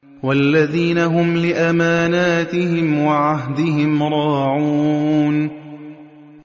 وَالَّذِينَ هُمْ لِأَمَانَاتِهِمْ وَعَهْدِهِمْ رَاعُونَ